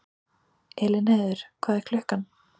Elínheiður, hvað er klukkan?